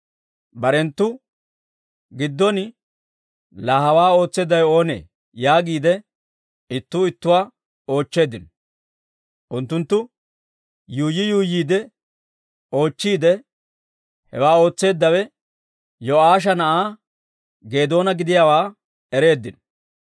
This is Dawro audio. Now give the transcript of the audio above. Barenttu giddon, «Laa hawaa ootseeddawe oonee?» yaagiide ittuu ittuwaa oochcheeddino. Unttunttu yuuyyi yuuyyiide oochchiide, hewaa ootseeddawe Yo'aasha na'aa Geedoona gidiyaawaa ereeddino.